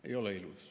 Ei ole ilus.